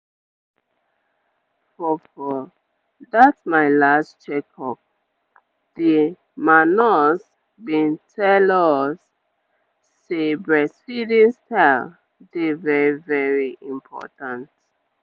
ehn for for that my last check-up the ma nurse bin tell us say breastfeeding style dey very very important.